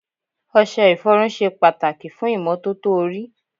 Ọṣẹ ìfọrun ṣe pàtàkì fún ìmọ́tótó orí.